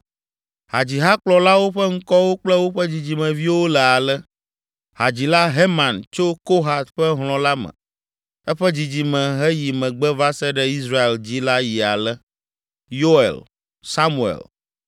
Hadzihakplɔlawo ƒe ŋkɔwo kple woƒe dzidzimeviwo le ale: Hadzila Heman tso Kohat ƒe hlɔ̃ la me. Eƒe dzidzime heyi megbe va se ɖe Israel dzi la yi ale: Yoel, Samuel,